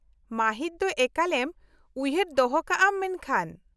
ᱢᱟ.ᱦᱤᱫ ᱫᱚ ᱮᱠᱟᱞᱮᱢ ᱩᱭᱦᱟ.ᱨ ᱫᱚᱦᱚ ᱠᱟᱜ ᱟᱢ ᱢᱮᱱᱠᱷᱟᱱ ᱾